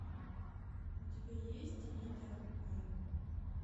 у тебя есть анита б